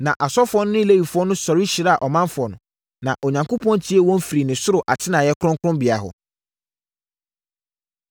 Na asɔfoɔ no ne Lewifoɔ sɔre hyiraa ɔmanfoɔ no, na Onyankopɔn tiee wɔn firi ne soro atenaeɛ kronkronbea hɔ.